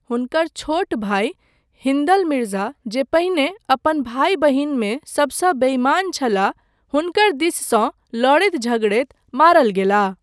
हुनकर छोट भाई हिन्दल मिर्जा जे पहिने अपन भाई बहिनमे सबसँ बेइमान छलाह, हुनकर दिससँ लड़ैत झगड़ैत मारल गेलाह।